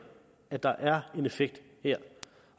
at der er en effekt her